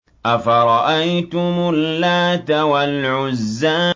أَفَرَأَيْتُمُ اللَّاتَ وَالْعُزَّىٰ